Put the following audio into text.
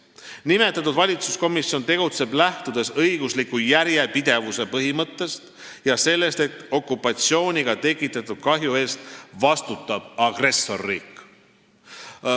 Nimetatud valitsuskomisjon tegutseb, lähtudes õigusliku järjepidevuse põhimõttest ja sellest, et okupatsiooniga tekitatud kahju eest vastutab agressorriik.